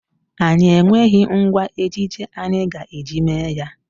Anyị enweghị ngwa ejije anyị ga-eji mee ya.